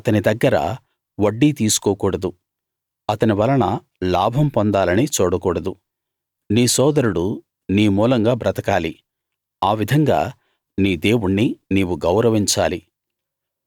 అతని దగ్గర వడ్డీ తీసుకోకూడదు అతని వలన లాభం పొందాలని చూడకూడదు నీ సోదరుడు నీ మూలంగా బ్రతకాలి ఆ విధంగా నీ దేవుణ్ణి నీవు గౌరవించాలి